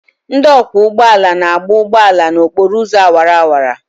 Ndị ọkwọ ụgbọ ala na-agba ụgbọ ala n'okporo ụzọ awara awara.